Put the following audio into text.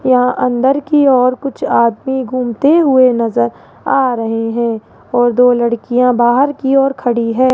यहां अंदर की और कुछ आदमी घूमते हुए नजर आ रहे हैं और दो लड़कियां बाहर की ओर खड़ी हैं।